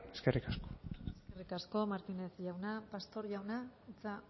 eskerrik asko eskerrik asko martinez jauna pastor jauna hitza